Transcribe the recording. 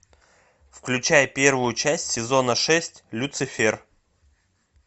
включай первую часть сезона шесть люцифер